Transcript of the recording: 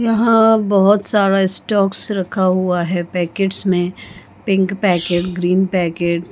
यहाँ बहुत सारा स्टॉक्स रखा हुआ है पैकेट्स में पिंक पैकेट ग्रीन पैकेट --